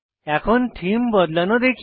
এখন থিম বদলানো দেখি